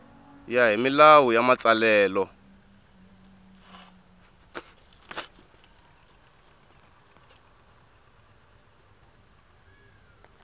ya hi milawu ya matsalelo